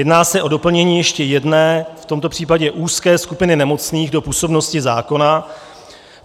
Jedná se o doplnění ještě jedné, v tomto případě úzké skupiny nemocných do působnosti zákona.